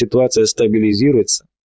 ситуация стабилизируется